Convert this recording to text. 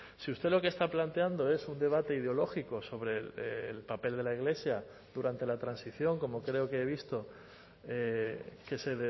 si usted lo que está planteando es un debate ideológico sobre el papel de la iglesia durante la transición como creo que he visto que se